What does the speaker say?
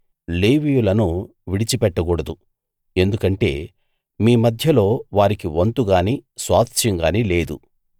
లేవీయులను విడిచిపెట్టకూడదు ఎందుకంటే మీ మధ్యలో వారికి వంతు గాని స్వాస్థ్యం గాని లేదు